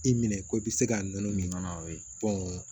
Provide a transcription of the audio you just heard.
I minɛ ko i bɛ se ka nɔnɔ min kɔnɔ